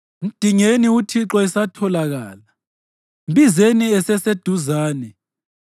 Mdingeni uThixo esatholakala, mbizeni eseseduzane.